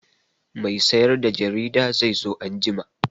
Mai sayar da jarida zai zo anjima.